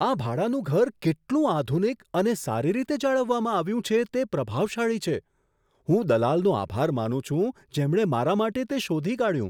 આ ભાડાનું ઘર કેટલું આધુનિક અને સારી રીતે જાળવવામાં આવ્યું છે, તે પ્રભાવશાળી છે! હું દલાલનો આભાર માનું છું, જેમણે મારા માટે તે શોધી કાઢ્યું.